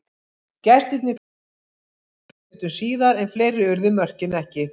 Gestirnir klóruðu í bakkann sjö mínútum síðar en fleiri urðu mörkin ekki.